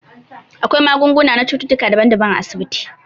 Akwai magunguna na cututtuka daban daban a asibiti